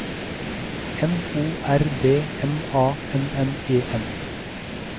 N O R D M A N N E N